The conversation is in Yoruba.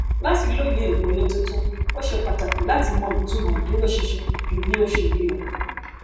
láti lóye ìmòye tuntun ó ṣe pàtàkì láti mọ ìtumọ ìdúróṣinṣin jù bí ó ṣe rí lọ